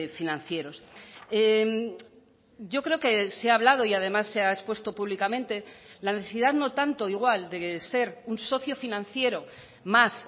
financieros yo creo que se ha hablado y además se ha expuesto públicamente la necesidad no tanto igual de ser un socio financiero más